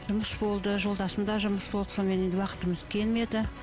жұмыс болды жолдасымда жұмыс болды сонымен енді уақытымыз келмеді